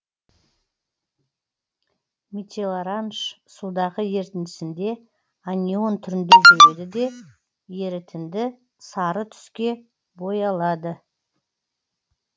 метилоранж судағы ерітіндісінде анион түрінде жүреді де ерітінді сары түске боялады